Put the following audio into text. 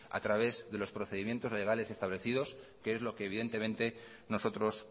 a través de los procedimientos legales establecidos que es lo que evidentemente nosotros